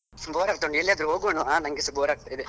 Bore ಆಗ್ತಾ ಉಂಟು ಎಲ್ಲಾದ್ರೂ ಹೊಗೋಣವಾ ನಂಗೆಸ bore ಆಗ್ತಾ ಇದೆ.